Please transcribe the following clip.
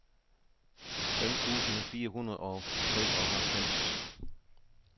fem tusind fire hundrede og treoghalvfems